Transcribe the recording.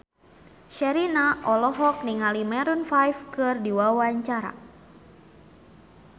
Sherina olohok ningali Maroon 5 keur diwawancara